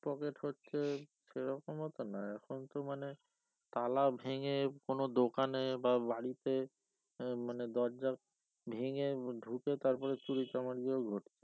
pocket হচ্ছে সেরকমও তো না এখন তো মানে তালা ভেঙে কোনো দোকানে বা বাড়িতে উম মানে দরজা ভেঙে ঢুকে তারপরে চুরিচামারিও ঘটছে